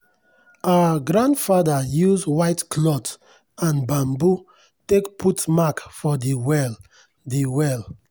our grandfather use white cloth and bamboo take put mark for de well. de well.